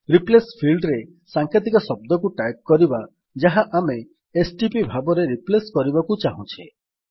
replace field ରେ ସାଂକେତିକ ଶବ୍ଦଟିକୁ ଟାଇପ୍ କରିବା ଯାହା ଆମେ ଏସଟିପି ଭାବରେ ରିପ୍ଲେସ୍ କରିବାକୁ ଚାହୁଁଛେ